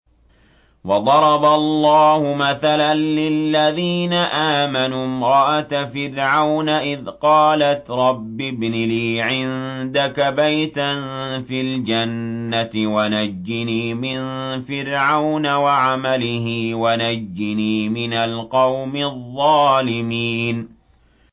وَضَرَبَ اللَّهُ مَثَلًا لِّلَّذِينَ آمَنُوا امْرَأَتَ فِرْعَوْنَ إِذْ قَالَتْ رَبِّ ابْنِ لِي عِندَكَ بَيْتًا فِي الْجَنَّةِ وَنَجِّنِي مِن فِرْعَوْنَ وَعَمَلِهِ وَنَجِّنِي مِنَ الْقَوْمِ الظَّالِمِينَ